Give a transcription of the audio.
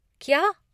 क्या!